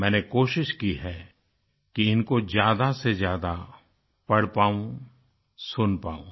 मैंने कोशिश की है कि इनको ज्यादासेज्यादा पढ़ पाऊँ सुन पाऊँ